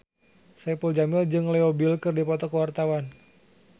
Saipul Jamil jeung Leo Bill keur dipoto ku wartawan